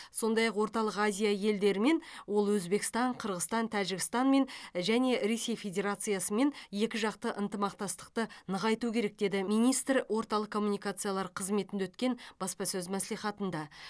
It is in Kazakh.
сондай ақ орталық азия елдерімен ол өзбекстан қырғызстан тәжікстанмен және ресей федерациясымен екі жақты ынтымақтастықты нығайту керек деді министр орталық коммуникациялар қызметінде өткен баспасөз мәслихатында